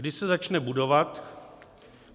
Kdy se začne budovat?